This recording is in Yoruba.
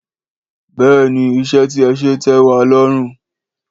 Béèni iṣẹ́ tí ẹ̄ ṣe tẹ́ wa lọ́rùn